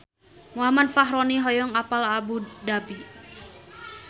Muhammad Fachroni hoyong apal Abu Dhabi